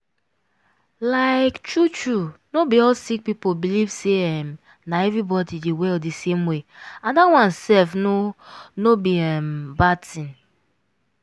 like true true no be all sick people believe say um na everybody dey well di same way and dat one sef no no be um bad tin.